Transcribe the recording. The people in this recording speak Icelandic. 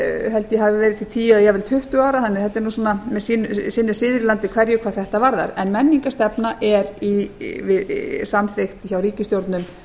held ég að hafi verið til tíu jafnvel tuttugu ára þannig að sinn er siður í landi hverju hvað þetta varðar en menningarstefna er samþykkt hjá ríkisstjórnum